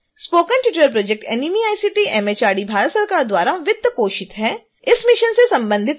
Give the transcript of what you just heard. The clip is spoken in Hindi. spoken tutorial project nmeict mhrd Bharat सरकार द्वारा वित्तपोषित है